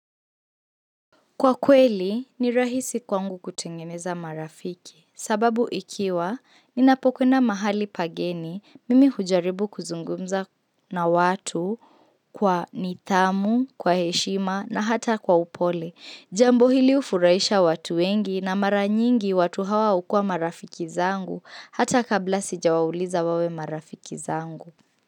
Kwa kweli, ni rahisi kwangu kutengeneza marafiki. Sababu ikiwa, ninapokwenda mahali pageni, mimi hujaribu kuzungumza na watu kwa nithamu, kwa heshima na hata kwa upole. Jambo hili ufurahisha watu wengi na maranyingi watu hawa ukuwa marafiki zangu hata kabla sija wauliza wawe marafiki zangu.